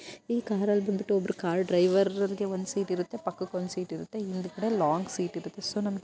ಈ ಕಾರ್ ಅಲ್ಲಿ ಬಂದ್ಬಿಟ್ಟು ಒಬ್ರ್ ಕಾರ್ ಡ್ರೈವರ್‌ ಗೆ ಒಂದ್ ಸೀಟ್ ಇರುತ್ತೆ. ಪಕ್ಕಕ್ಕೆ ಒಂದ್ ಸೀಟ್ ಇರುತ್ತೆ. ಹಿಂದ್ಗಡೆ ಒಂದ್ ಲಾಂಗ್ ಸೀಟ್ ಇರುತ್ತೆ. ಸೊ ನಮಗೆ --